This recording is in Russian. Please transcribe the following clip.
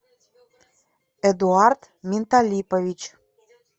эдуард менталипович